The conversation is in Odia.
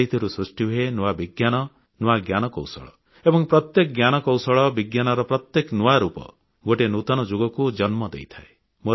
ସେହିଥିରୁ ସୃଷ୍ଟିହୁଏ ନୂଆ ବିଜ୍ଞାନ ନୂତନ ଜ୍ଞାନକୌଶଳ ଏବଂ ପ୍ରତ୍ୟେକ ଜ୍ଞାନକୌଶଳ ବିଜ୍ଞାନର ପ୍ରତ୍ୟେକ ନୂଆ ରୂପ ଗୋଟିଏ ନୂତନ ଯୁଗକୁ ଜନ୍ମ ଦେଇଥାଏ